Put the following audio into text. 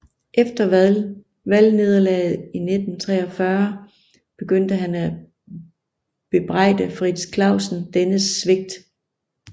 Efter valgnederlaget i 1943 begyndte han at bebrejde Frits Clausen dennes svigt